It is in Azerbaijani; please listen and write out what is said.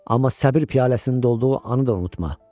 Amma səbr piyaləsinin dolduğu anı da unutma.